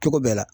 Cogo bɛɛ la